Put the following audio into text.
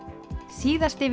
síðasti